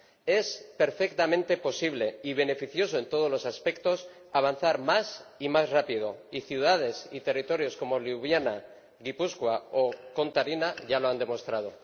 Es perfectamente posible y beneficioso en todos los aspectos avanzar más y más rápidamente, y ciudades y territorios como Liubliana, Gipuzkoa o Contarina ya lo han demostrado.